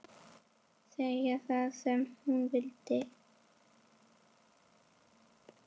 Segja það sem hún vildi.